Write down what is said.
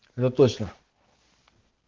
да точно